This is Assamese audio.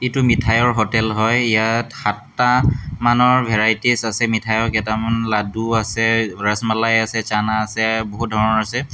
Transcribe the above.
এইটো মিঠাইঅৰ হোটেল হয় ইয়াত সাতটা মানৰ ভেৰাইটিচ আছে মিঠাইঅৰ কেইটামান লাদ্দু আছে ৰাছমালাই আছে চানা আছে বহুত ধৰণৰ আছে।